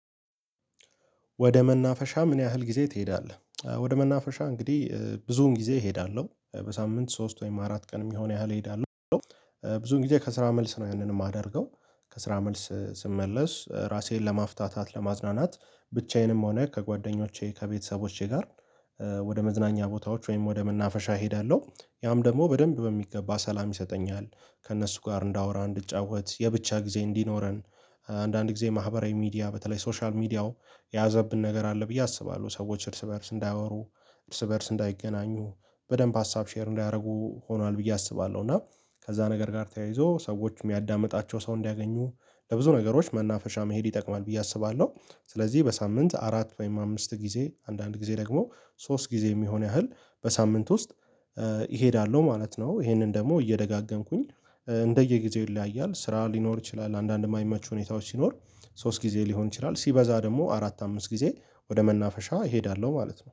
ወደ መናፈሻ ምን ያህል ጊዜ ትሄዳለህ? ወደ መናፈሻ እንግዲህ ብዙውን ጊዜ እሄዳለሁ በሳምንት ሶስት ወይም አራት ቀን የሚሆን ያህል እሄዳለሁ። ብዙ ጊዜ ከስራ መልስ ነው ያንን የማደርገው ከስራ መልስ ስመለስ ራሴን ለማፍታታት ለማዝናናት ብቻዬንም ሆነ ከጓደኞቼ ከቤተሰቦቼ ጋር። ወደ መዝናኛ ቦታዎች ወይም ወደ መናፈሻ እሄዳለሁ ያም ደግሞ በደንብ በሚገባ ሰላም ይሰጠኛል። ከእነሱ ጋር እንዳወራ እንድጫወት የብቻ ጊዜ እንዲኖረን። አንዳንድ ጊዜ ማህበራዊ ሚዲያ በተለይ ሶሻል ሚዲያው የያዘብን ነገር አለ ብዬ አስባለሁ ሰዎች እርስ በእርስ እንዳያወሩ እርስ በእርስ እንዳይገናኙ በደንብ ሀሳብ ሼር እንዳያደርጉ ሆኗል ብዬ አስባለሁ። እና ከዚያ ነገር ጋር ተያይዞ ሰዎች የሚያዳምጣቸው ሰው እንዲያገኙ ለብዙ ነገሮች መናፈሻ መሄድ ይጠቅማል ብዬ አስባለሁ። ስለዚህ በሳምንት አራት ወይም አምስት ጊዜ አንዳንድ ጊዜ ደግሞ ሶስት ጊዜ የሚሆን ያህል በሳምንት ውስጥ እሄዳለሁ ማለት ነው። ይሄንን ደግሞ እየደጋገምኩኝ እንደየጊዜው ይለያያል ስራ ሊኖር ይችላል አንዳንድም ማይመቹ ሁኔታዎች ሲኖር። ሶስት ጊዜ ሊሆን ይችላል ሲበዛ ደግሞ አራት አምስት ጊዜ ወደ መናፈሻ እሄዳለሁ ማለት ነው